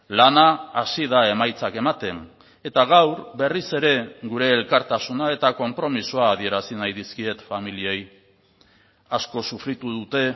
lana hasi da emaitzak ematen eta gaur berriz ere gure elkartasuna eta konpromisoa adierazi nahi dizkiet familiei asko sufritu dute